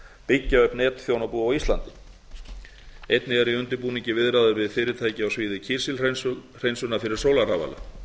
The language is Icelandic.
byggja upp netþjónabú á íslandi einnig eru í undirbúningi viðræður við fyrirtæki á sviði kísilhreinsunar fyrir sólarrafala